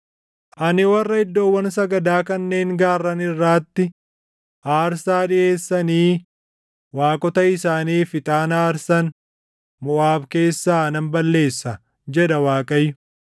Ani warra iddoowwan sagadaa kanneen gaarran irraatti aarsaa dhiʼeessanii waaqota isaaniif ixaana aarsan Moʼaab keessaa nan balleessa” jedha Waaqayyo.